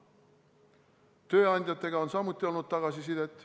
Tööandjatelt on samuti tulnud tagasisidet.